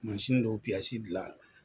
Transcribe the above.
dɔw gilan la